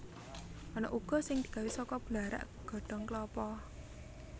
Ana uga sing digawé saka blarak godhong klapa